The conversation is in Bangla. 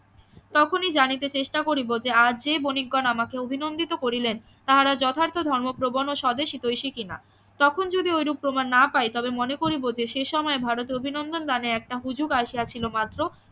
তখনি জানিতে চেষ্টা করিব যে আর যে বণিকগণ আমাকে অভিনন্দিত করিলেন তাহার যথার্থ ধর্ম প্রবন ও স্বদেশ হিতৈষী কি না তখন যদি ঐরূপ প্রমান না পাই তবে মনে করিব যে সে সময় ভারত এ অভিনন্দন দানে একটা হুজুগ আসিয়াছিল মাত্র